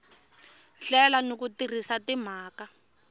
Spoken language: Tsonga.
hlela ni ku tirhisa timhaka